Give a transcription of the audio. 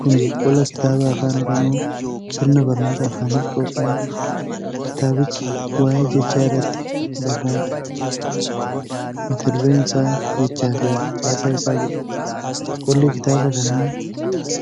Kun qola kitaabaa Afaan Oromoo sirna barnooota afaaniif qophaa'edha. Kitaabichi waa'ee jechaa irratti barraa'edha. Mata duraeen isaa "Jechaa fi Caasaa Isaa " jedha. Qolli kitaaba kanaa